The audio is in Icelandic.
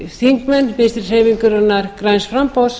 þingmenn vinstri hreyfingarinnar græns framboðs